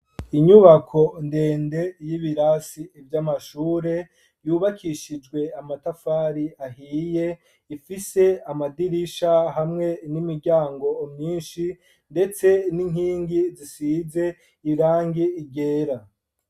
Inyubako ndende y'ibirasi vy'amashure, yubakishijwe amatafari ahiye, ifise amadirisha hamwe n'imiryango myinshi, ndetse n'inkingi zisize irangi ryera.